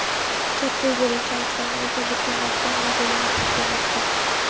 katta egiluvchan ekranga ega buklanadigan modelini taqdim etdi.